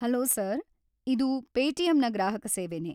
Hello sir, ಇದು ಪೇಟಿಎಮ್‌ನ ಗ್ರಾಹಕ ಸೇವೆನೇ.